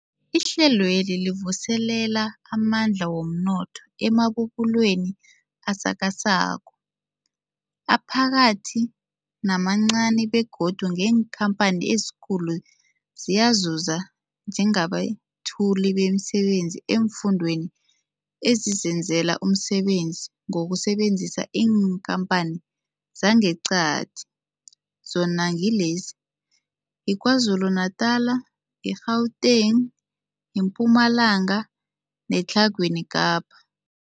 Ihlelweli livuselela amandla womnotho emabubulweni asakhasako, aphakathi namancani begodu neenkhamphani ezikulu ziyazuza njengabethuli bemisebenzi eemfundeni ezizenzela umsebenzi ngokusebenzisa iinkhamphani zangeqadi, zona ngilezi, yiKwaZulu-Natala, i-Gauteng, iMpumalanga neTlhagwini Kapa.